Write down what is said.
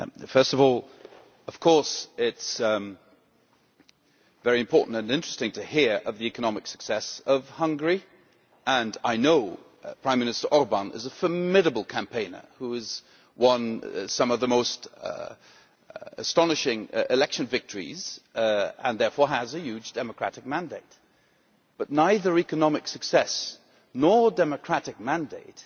First of all, of course it is very important and interesting to hear of the economic success of Hungary, and I know Prime Minister Orbán is a formidable campaigner, who has won some of the most astonishing election victories and therefore has a huge democratic mandate. But neither economic success nor democratic mandate